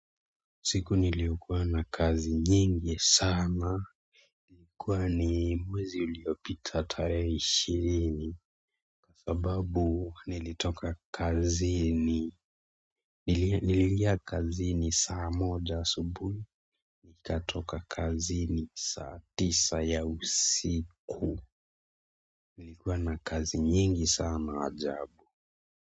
Siku niliyokuwa na kazi nyingi sana. Ilikuwa ni mwezi uliopita tarehe ishirini. Sababu nilitoka kazini. Niliingia kazini saa moja subuhi. Nikatoka kazini saa tisa ya usiku. Nilikuwa na kazi nyingi sana ajabu.